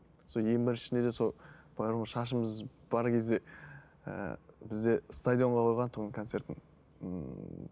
сол ең біріншісінде де сол бірақ ол шашымыз бар кезде ііі бізде стадионға қойған тұғын концертін